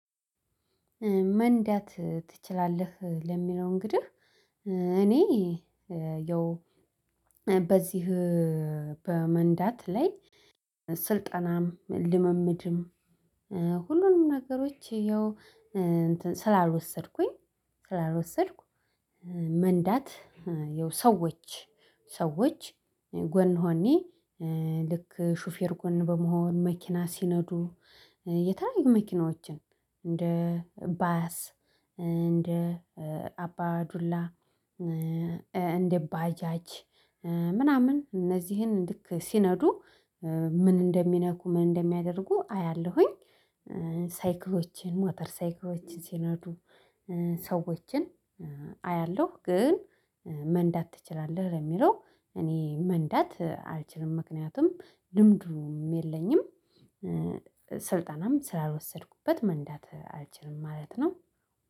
መንዳት ትችላለህ ለሚለው እንግዲህ እኔ ያው በዚህ በመንዳት ላይ ስልጠናም ልምምድም ሁሉንም ነገሮች ያው ስላልወሰድኩኝ ስላልወሰድኩ መንዳት ያው ሰዎች ሰዎች ጎን ሆኔ ልክ ሹፌር ጎን በመሆን መኪና ሲነዱ የተለያዩ መኪናዎችን እንደ ባያስ እንደ አባ ዱላ እንደ ባጃጅ ምናምን እነዚህን ልክ ሲነዱ ምን እንደሚነኩ ምን እንደሚያደርጉ አያለሁኝ ሳይክሎችን ሞተር ሳይክሎችን ሲኖዱ ሰዎችን አያለሁ ግን መንዳት ትችላለህ ለሚለው እኔ መንዳት አልችልም ምክንያቱም ልምዱም የለኝም። ስልጠናም ስላልወሰድኩበት መንዳት አልችልም ማለት ነው